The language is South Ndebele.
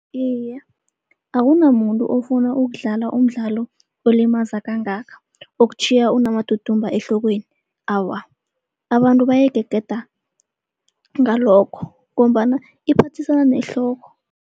Iye, akunamuntu ofuna ukudlala umdlalo olimaza kangaka, okutjhiya unamadudumba ehlokweni. Awa, abantu bayigegeda ngalokho ngombana iphathisana nehloko.